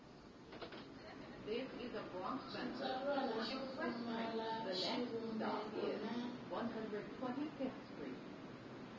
xitsalwana xo pfumala xivumbeko na